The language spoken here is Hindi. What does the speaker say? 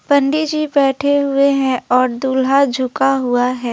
पंडित जी बैठे हुए हैं और दूल्हा झुका हुआ है।